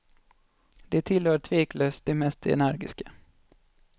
De tillhör tveklöst de mest energiska.